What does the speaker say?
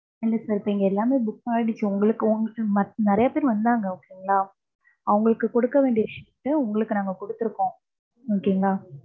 இல்ல sir இப்ப இங்க எல்லாமே book ஆயிடுச்சு. உங்களுக்கு. நிறைய பேர் வந்தாங்க okay ங்களா. அவங்களுக்கு குடுக்க வேண்டிய seat அ, உங்களுக்கு நாங்க குடுத்துருக்கோம். okay ங்களா.